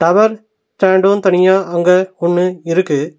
Work stand தனியா அங்க ஒன்னு இருக்கு.